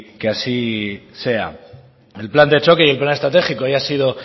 que así sea el plan de choque y plan estratégico ya ha sido